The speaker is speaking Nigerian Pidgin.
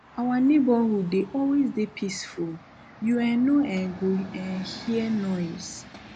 our neighborhood dey always dey peaceful you um no um go um hear noise